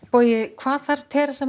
hvað þarf